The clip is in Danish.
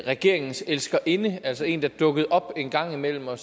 regeringens elskerinde altså en der dukkede op en gang imellem og